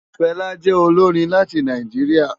Fela jè ólórin láti Náijiriá